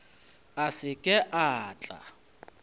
a se ke a tla